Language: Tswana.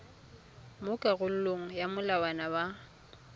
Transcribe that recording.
mo karolong ya molawana wa